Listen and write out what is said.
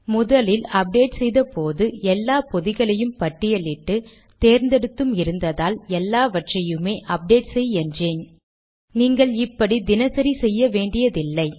முதலில் அப்டேட் செய்த போது எல்லா பொதிகளையும் பட்டியல் இட்டு தேர்ந்தெடுத்தும் இருந்ததால் எல்லாவற்றையுமே அப்டேட் செய் என்றேன் நீங்கள் இப்படி தினசரி செய்ய வேன்டியதில்லை